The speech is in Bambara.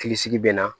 Hakili sigi bɛ na